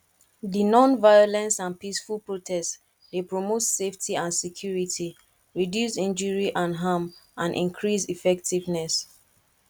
di nonviolence and peaceful protest dey promote safety and security reduce injury and harm and increase effectiveness